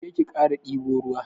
Je ki kara dibo ruwa.